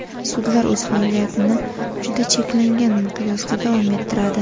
Sudlar o‘z faoliyatini juda cheklangan miqyosda davom ettiradi.